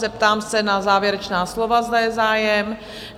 Zeptám se na závěrečná slova, zda je zájem?